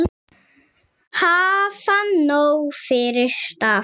Hafa nóg fyrir stafni.